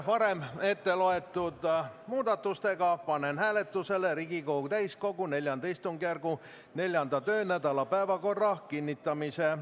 Varem ette loetud muudatustega panen hääletusele Riigikogu täiskogu IV istungjärgu 4. töönädala päevakorra kinnitamise.